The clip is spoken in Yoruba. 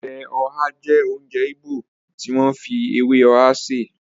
Ọbẹ̀ ọhá jẹ́ oúnjẹ Ìgbò tí wọ́n fi ewé ọhá sè